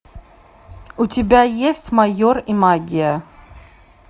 у тебя есть майор и магия